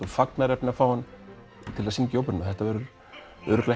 fagnaðarefni að fá hann að syngja í óperuna þetta verður örugglega